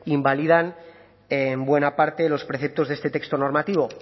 invalidan en buena parte los preceptos de este texto normativo